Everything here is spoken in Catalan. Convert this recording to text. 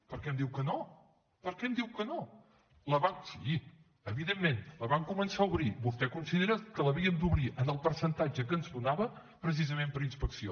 per què em diu que no per què em diu que no sí evidentment la van començar a obrir vostè considera que l’havíem d’obrir en el percentatge que ens donava precisament per a inspecció